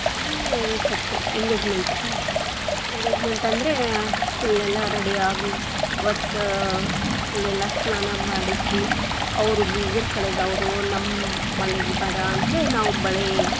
ಆಮೇಲೆ reception engagement, engagement lang:Foreign ಅಂದ್ರೆ full lang:Foreign ಎಲ್ಲಾ ready lang:Foreign ಯಾಗಿ ಅವತ್ತು ಆ full lang:Foreign ಎಲ್ಲಾ ಸ್ನಾನ ಮಾಡಿಸಿ, ಅವರು ಬೀಗರ್ ಕಡೆಯಿದ್ದಾ ಅವ್ರು ನಮ್ಮ ಮನೆಗೆ ಬರಾನ್ತ್ಲೇ ನಾವು ಬಳೆ.